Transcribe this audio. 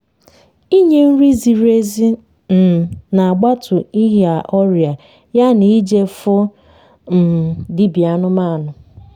ỉnye nri ziri ezi um n’agbatu ịnya ọria ya na ịje fụ um dibia anụmanụ